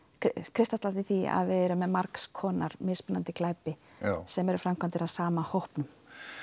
kristallast í því að við erum með margskonar mismunandi glæpi sem eru framkvæmdir af sama hópnum